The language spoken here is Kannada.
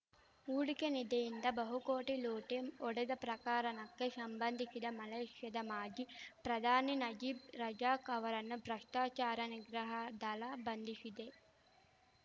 ಹೂಡಿಕೆ ನಿಧಿಯಿಂದ ಬಹುಕೋಟಿ ಲೂಟಿ ಹೊಡೆದ ಪ್ರಕರಣಕ್ಕೆ ಶಂಬಂಧಿಶಿ ಮಲೇಷ್ಯಾದ ಮಾಜಿ ಪ್ರಧಾನಿ ನಜೀಬ್‌ ರಜಾಕ್‌ ಅವರನ್ನು ಭ್ರಷ್ಟಾಚಾರ ನಿಗ್ರಹ ದಳ ಬಂಧಿಶಿದೆ